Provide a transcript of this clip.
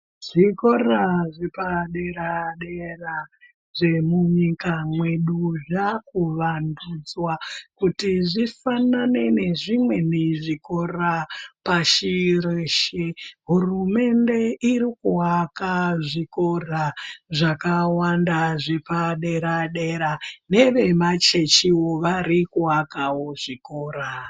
Zvikora zvepadera-dera zvemunyika mwedu zvakuwandudzwa kuti zvisangane nezvimwini zvikora pashi reshe. Hurumende irikuvaka zvikora zvakawanda zvepadera-dera nevemachechiwo vari kuvakavo zvikora.